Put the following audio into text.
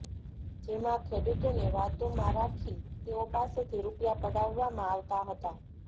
જેમાં ખેડૂતોને વાતોમાં રાખી તેઓ પાસેથી રૂપિયા પડાવવામાં આવતા હતા